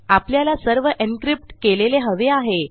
आपल्याला सर्व encryptकेलेले हवे आहे